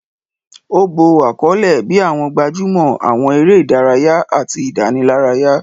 Ó bo àkọlé bíi àwọn gbajúmọ̀, àwọn eré ìdárayá, àti ìdánilárayá